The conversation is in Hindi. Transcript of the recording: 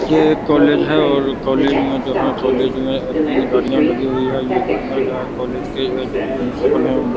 ये एक कॉलेज है और कॉलेज में जो है कॉलेज में तीन गाड़ियां लगी हुई है ये गाड़ियां जो है कॉलेज के जो प्रिंसिपल है उन --